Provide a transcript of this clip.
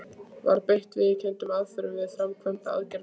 Var beitt viðurkenndum aðferðum við framkvæmd aðgerðarinnar?